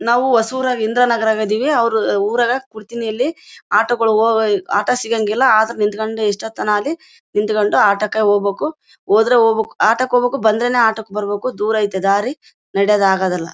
ನಾವು ಹೊಸುರ ಇಂದ್ರ ನಗರದಲ್ಲಿ ಇದೀವಿ ಅವರು ಅವರು ಕುಡ್ತಿನಿ ಯಲ್ಲಿ ಆಟೋ ಹೋಗ ಆಟೋ ಗಳು ಸಿಗಂಗಿಲ್ಲಾ ಆಟೋ ನಿತ್ಕೊಂಡಿ ಎಷ್ಟೋ ತನ ಆದ್ವಿ ನಿತ್ಕೊಂಡು ಆಟೋ ಕೆ ಹೋಗ್ಬೇಕು ಹೋದ್ರೆ ಹೋಗ್ಬೇಕು ಆಟೋ ಕೆ ಹೋಗ್ಬೇಕು ಬಂದ್ರೇನೇ ಆಟೋ ಕೆ ಬರ್ಬೇಕು ದೂರ ಇದೆ ದಾರಿ ನಡಿಯಕ್ಕೆ ಆಗಲ್ಲಾ .